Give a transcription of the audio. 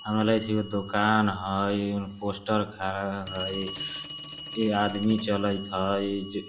हमरा लागे छे एगो दोकान हय पोस्टर खारा रा हय ऐ आदमी चलैत हय जे --